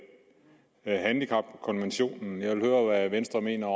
men jeg handicapkonventionen for at høre hvad venstre mener